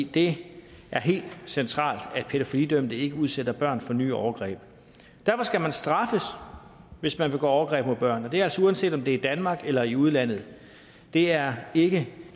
det er helt centralt at pædofilidømte ikke udsætter børn for nye overgreb derfor skal man straffes hvis man begår overgreb mod børn og det er altså uanset om det er i danmark eller i udlandet det er ikke